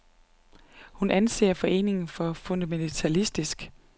Hun anser foreningen for fundamentalistisk.